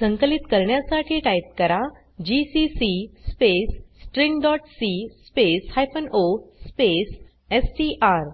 संकलित करण्यासाठी टाइप करा जीसीसी स्पेस stringसी स्पेस o स्पेस एसटीआर